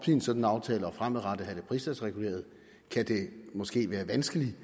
en sådan aftale og fremadrettet have det pristalsreguleret kan det måske være vanskeligt